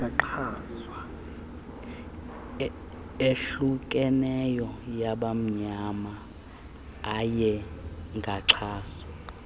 ehlukeneyo yabamnyama ayengaxhaswa